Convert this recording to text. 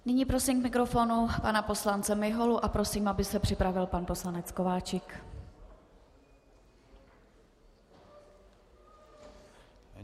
Nyní prosím k mikrofonu pana poslance Miholu a prosím, aby se připravil pan poslanec Kováčik.